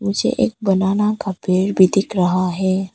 मुझे एक बनाना का पेड़ भी दिख रहा है।